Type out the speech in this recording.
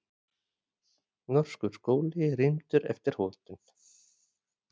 Norskur skóli rýmdur eftir hótun